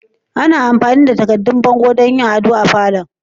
Ana amfani da takaddun bango don yin ado da falon.